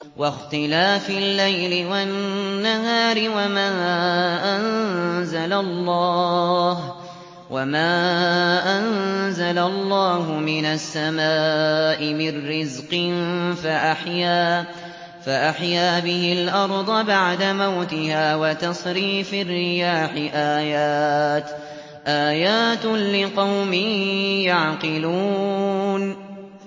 وَاخْتِلَافِ اللَّيْلِ وَالنَّهَارِ وَمَا أَنزَلَ اللَّهُ مِنَ السَّمَاءِ مِن رِّزْقٍ فَأَحْيَا بِهِ الْأَرْضَ بَعْدَ مَوْتِهَا وَتَصْرِيفِ الرِّيَاحِ آيَاتٌ لِّقَوْمٍ يَعْقِلُونَ